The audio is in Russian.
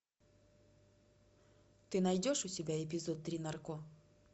ты найдешь у себя эпизод три нарко